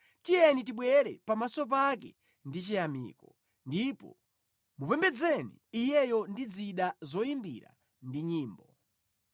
Tiyeni tibwere pamaso pake ndi chiyamiko ndipo mupembedzeni Iyeyo ndi zida zoyimbira ndi nyimbo.